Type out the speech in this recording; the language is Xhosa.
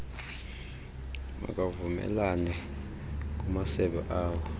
makavumelane kumasebe awo